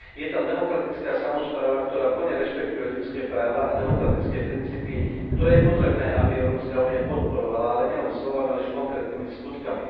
Je tam demokratická samospráva, ktorá plne rešpektuje ľudské práva a demokratické princípy, ktoré je potrebné, aby Európska únia podporovala, ale nielen slovami, ale aj konkrétnymi skutkami.